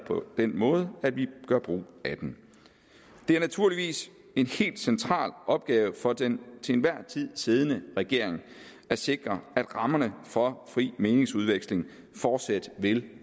den måde at vi gør brug af den det er naturligvis en helt central opgave for den til enhver tid siddende regering at sikre at rammerne for fri meningsudveksling fortsat vil